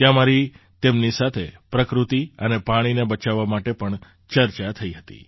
ત્યાં મારી તેમની સાથે પ્રકૃત્તિ અને પાણીને બચાવવા માટે પણ ચર્ચા થઈહતી